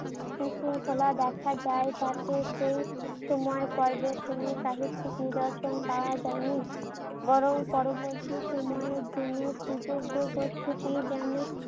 বিশৃঙ্খলা দেখা যায় তাতে সেই সময় পর্বে কোনো সাহিত্যিক নিদর্শন পাওয়া যায়নি। বরং পরবর্তী সময়ের জন্য সুযোগ্য যেন